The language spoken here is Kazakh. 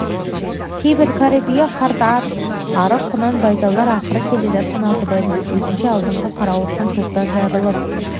кейбір кәрі бие қартаң ат арық құнан-байталдар ақырын келе жатқан алтыбайдың көзінше алдыңғы қарауытқан топтан жырылып